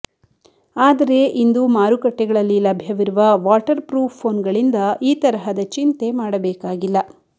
ಆದರೆ ಇಂದು ಮಾರುಕಟ್ಟೆಗಳಲ್ಲಿ ಲಭ್ಯವಿರುವ ವಾಟರ್ ಪ್ರೂಫ್ ಫೋನ್ಗಳಿಂದ ಈ ತರಹದ ಚಿಂತೆ ಮಾಡಬೇಕಾಗಿಲ್ಲ